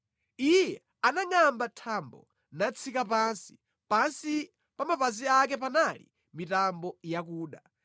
Iye anangʼamba thambo natsika pansi; pansi pa mapazi ake panali mitambo yakuda.